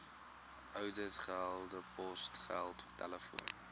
ouditgelde posgeld telefoon